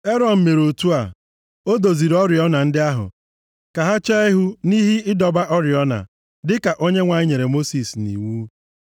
Erọn mere otu a. O doziri oriọna ndị ahụ ka ha chee ihu nʼihe ịdọba oriọna, dịka Onyenwe anyị nyere Mosis nʼiwu.